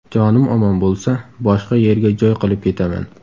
Jonim omon bo‘lsa, boshqa yerga joy qilib ketaman.